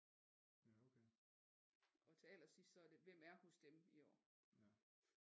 Til allersidst så er det hvem er hos dem i år